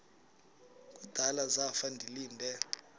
kudala zafa ndilinde